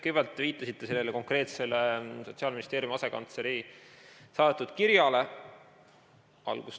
Kõigepealt viitasite te sellele konkreetsele Sotsiaalministeeriumi asekantsleri kirjale.